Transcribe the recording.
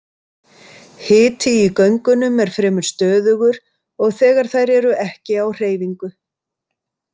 Hiti í göngunum er fremur stöðugur og þegar þær eru ekki á hreyfingu.